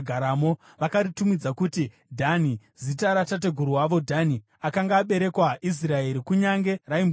Vakaritumidza kuti Dhani zita ratateguru wavo Dhani, akanga aberekerwa Israeri, kunyange raimbonzi Raishi.